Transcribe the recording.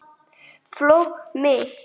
Fólkið mitt.